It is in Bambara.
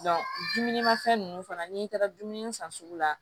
dumuni ma fɛn ninnu fana n'i taara dumuni san sugu la